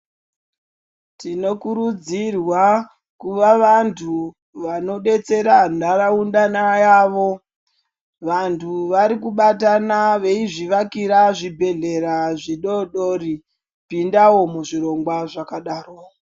Tinokurudzirwa kuva vantu vanodetsera nharaunda yavo, vantu varikubatana veizvivakira zvibhedhlera zvidodori, pindawo muzvirongwa zvakadaro.